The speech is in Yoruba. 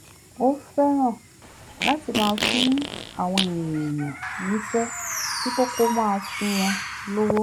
ó fẹ́ràn láti máa fún àwọn èèyàn níṣẹ́ dípò kó máa fún wọn lówó